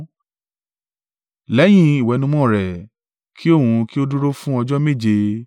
Lẹ́yìn ìwẹ̀nùmọ́ rẹ̀, ki òun kí ó dúró fún ọjọ́ méje.